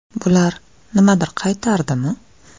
Bular nimadir qaytardimi?